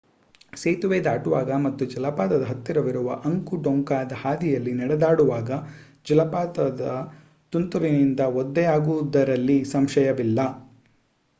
ಸೇತುವೆ ದಾಟುವಾಗ ಮತ್ತು ಜಲಪಾತದ ಹತ್ತಿರವಿರುವ ಅಂಕು ಡೊಂಕಾದ ಹಾದಿಯಲ್ಲಿ ನಡೆದಾಡುವಾಗ ಜಲಪಾತದ ತುಂತುರಿನಿಂದ ಒದ್ದೆಯಾಗುವುದರಲ್ಲಿ ಸಂಶಯವಿಲ್ಲ